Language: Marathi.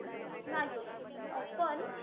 नाही अं पण,